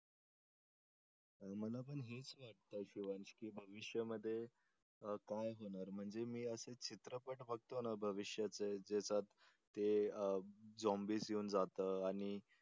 मला पण हेच वाटतंय शिवांश की भविष्यामध्ये काय होणार म्हणजे मी आज जे चित्रपट बघतो ना भविष्याचे ज्याच्यात ते झोम्बीस येऊन जात आणि